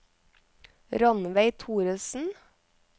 Rannveig Thoresen